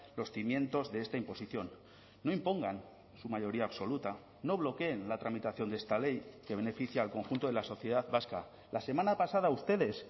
los cimientos de esta imposición no impongan su mayoría absoluta no bloqueen la tramitación de esta ley que beneficia al conjunto de la sociedad vasca la semana pasada ustedes